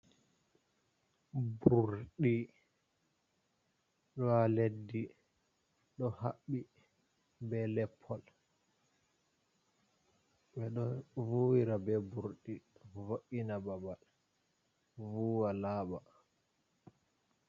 Burɗi ɗo ha leddi ɗo haɓɓi be leppol, ɓeɗo vuwira be burɗi vo’’ina babal vuwa laɓa.